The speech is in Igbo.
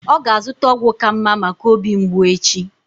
Ọ ga-azụta ọgwụ ka mma maka obi mgbụ echi.